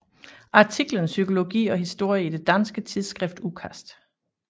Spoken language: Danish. Artiklen Psykologi og historie i det danske tidsskrift Udkast